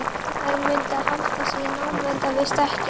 Þær mundu halda sig í námunda við stekkinn.